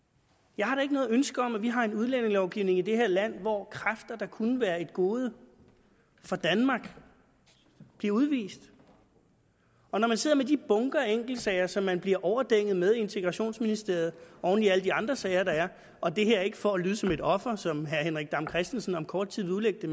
jeg har da ikke noget ønske om at vi har en udlændingelovgivning i det her land hvor kræfter der kunne være et gode for danmark bliver udvist og når man sidder med de bunker af enkeltsager som man bliver overdænget med i integrationsministeriet oven i alle de andre sager der er og det her er ikke for at lyde som et offer som herre henrik dam kristensen siden om kort tid vil udlægge